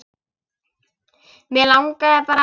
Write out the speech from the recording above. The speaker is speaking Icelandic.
Mig langaði bara.